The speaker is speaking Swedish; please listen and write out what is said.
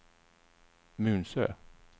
Munsö